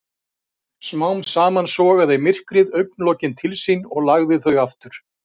Smám saman sogaði myrkrið augnlokin til sín og lagði þau aftur.